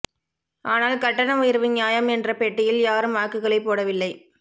ஆனால் கட்டண உயர்வு நியாயம் என்ற பெட்டியில் யாரும் வாக்குகளை போடவில்லை